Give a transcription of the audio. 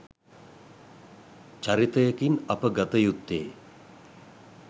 චරිතයකින් අප ගත යුත්තේ